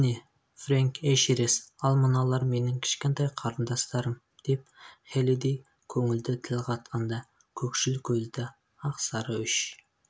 міне фрэнк эшерест ал мыналар менің кішкентай қарындастарым деп хеллидэй көңілді тіл қатқанда көкшіл көзді ақсары үш